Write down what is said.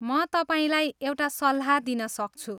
म तपाईँलाई एउटा सल्लाह दिन सक्छु।